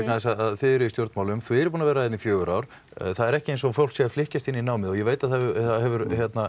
þið eruð í stjórnmálum þið eruð búnir að vera hérna í fjögur ár það er ekki eins og fólk sé að flykkjast inn í námið og ég veit að það hefur